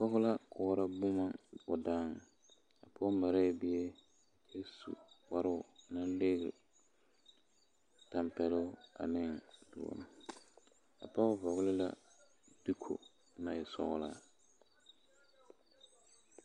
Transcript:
Pɔge la koɔrɔ boma o daaŋ o marɛɛ bie kyɛ su kparoo lnaŋ ligri tampeloŋ ane doɔre a pɔge vɔgle la diko naŋ e sɔglaa.